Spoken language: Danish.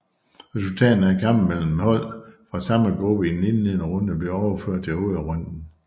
Resultaterne af kampe mellem hold fra samme gruppe i den indledende runde blev overført til hovedrunden